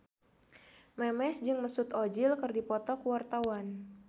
Memes jeung Mesut Ozil keur dipoto ku wartawan